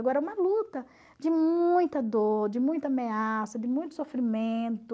Agora, uma luta de muita dor, de muita ameaça, de muito sofrimento.